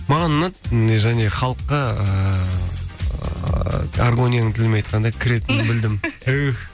маған ұнады және халыққа ыыы аргонияның тілімен айтқанда кіретінін білдім түһ